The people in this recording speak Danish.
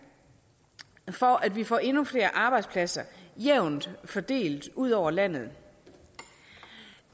for at vi får endnu flere arbejdspladser jævnt fordelt ud over landet